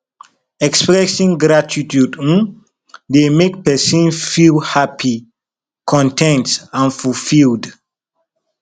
expressing gratitude um dey make pesin feel happy con ten t and fulfilled